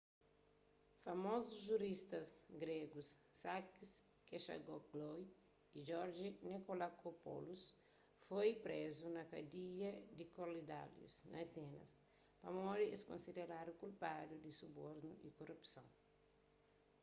famozus juristas gregus sakis kechagioglou y george nikolakopoulos foi prezu na kadia di korydallus na atenas pamodi es konsideradu kulpadu di subornu y korupson